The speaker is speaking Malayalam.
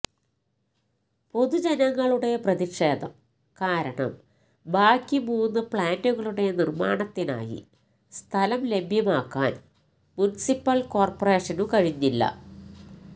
പൊതുജനങ്ങളുടെ പ്രതിഷേധം കാരണം ബാക്കി മൂന്ന് പ്ലാന്റുകളുടെ നിര്മ്മാണത്തിനായി സ്ഥലം ലഭ്യമാക്കാന് മുനിസിപ്പല് കോര്പ്പറേഷനു കഴിഞ്ഞില്ല